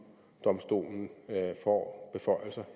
domstolen får